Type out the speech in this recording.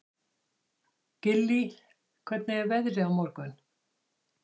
Gillý, hvernig er veðrið á morgun?